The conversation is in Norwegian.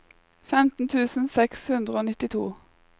femten tusen seks hundre og nittito